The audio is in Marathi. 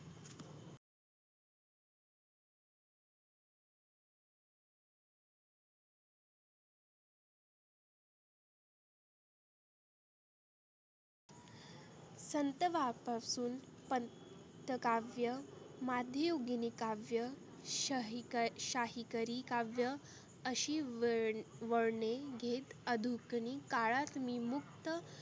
संत बाप पासुन पंत काव्य माधीयुगिनी काव्य. शाही क शाहीकरी काव्य आशी वळ वळने घेत अधुकनी काळात मी मुक्त